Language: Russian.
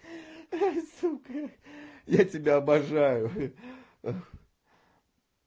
сука я тебя обожаю